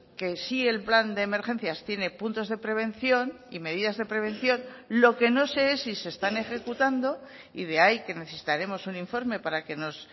que sí el plan de emergencias tiene puntos de prevención y medidas de prevención lo que no sé es si se están ejecutando y de ahí que necesitaremos un informe para que nos